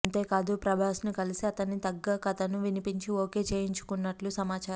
అంతేకాదు ప్రభాస్ను కలిసి అతని తగ్గ కథను వినిపించి ఓకే చేయించుకున్నట్టు సమాచారం